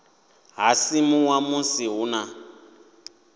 ha simuwa musi hu na